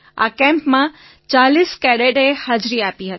આ કેમ્પમાં ૪૦ કેડેટે હાજરી આપી હતી